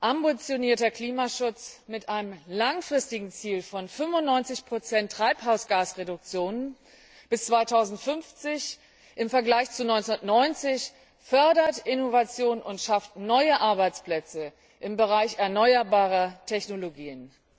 Ambitionierter Klimaschutz mit einem langfristigen Ziel von 95 der Treibhausgasreduktionen bis 2050 im Vergleich zu 1990 fördert Innovation und schafft neue Arbeitsplätze im Bereich erneuerbarer Technologien.